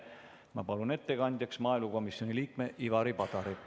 Ma palun ettekandjaks maaelukomisjoni liikme Ivari Padari.